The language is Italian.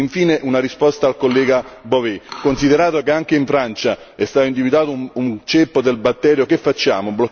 Infine una risposta al collega Bové, considerato che anche in Francia è stato individuato un ceppo del batterio, che facciamo?